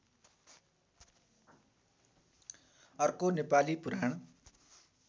अर्को नेपाली पुराण